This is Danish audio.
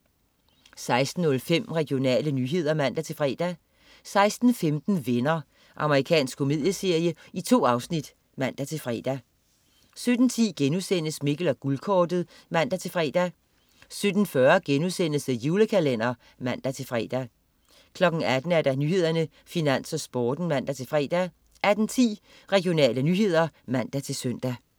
16.05 Regionale nyheder (man-fre) 16.15 Venner. Amerikansk komedieserie. 2 afsnit (man-fre) 17.10 Mikkel og Guldkortet* (man-fre) 17.40 The Julekalender* (man-fre) 18.00 Nyhederne, Finans, Sporten (man-fre) 18.10 Regionale nyheder (man-søn)